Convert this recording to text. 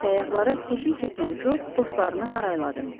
Səyyahlara keşik çəkən Co dostlarını harayladı.